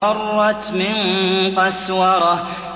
فَرَّتْ مِن قَسْوَرَةٍ